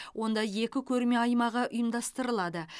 онда екі көрме аймағы ұйымдастырылады